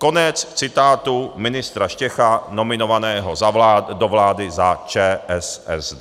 Konec citátu ministra Štecha nominovaného do vlády za ČSSD.